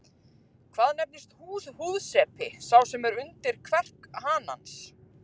Hvað nefnist húðsepi sá sem er undir kverk hanans?